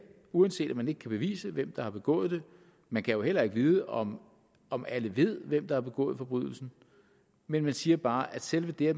uanset at man ikke kan bevise hvem der har begået det man kan jo heller ikke vide om om alle ved hvem der har begået forbrydelsen men man siger bare at selve det at